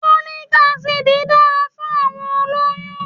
Folic acid dára fún àwọn olóyú-ún